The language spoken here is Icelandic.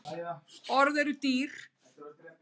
Orð eru dýr